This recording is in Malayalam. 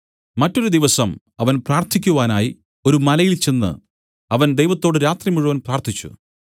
മറ്റൊരു ദിവസം അവൻ പ്രാർത്ഥിക്കുവാനായി ഒരു മലയിൽ ചെന്ന് അവൻ ദൈവത്തോട് രാത്രി മുഴുവൻ പ്രാർത്ഥിച്ചു